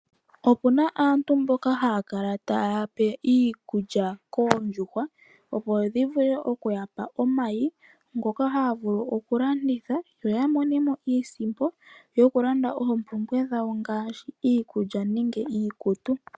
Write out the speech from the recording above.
Opuna aantu mboka haa kala taa pe iikulya oondjuhwa opo dhi vule okuya pa omayi ngoka haya vulu okulanditha yo ya mone mo iisimpo yo ya vule okulanda oompumbwe dhawo ngaashi iikulya nenge iikutu.